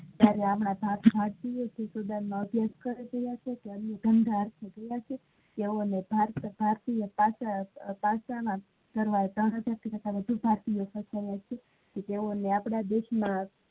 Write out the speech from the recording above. જયારે એમાં ભારતીયો student ધંધા અર્થે તોવોને ભારતીય પાસ ના વધારે હોય છે તોવો ની આપડા દેશ માં